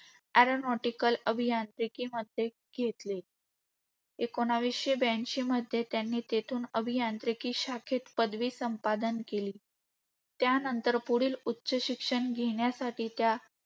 Aeronautical अभियांत्रिकीमध्ये घेतले. एकोणीसशे ब्याऐंशीमध्ये त्यांनी तेथून अभियांत्रिकी शाखेत पदवी संपादन केली. त्यानंतर पुढील उच्च शिक्षण घेण्यासाठी त्या